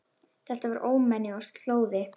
Þetta var ómenni og slóði.